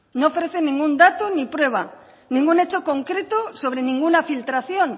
no ofrece ningún dato ni prueba ningún hecho concreto sobre ninguna filtración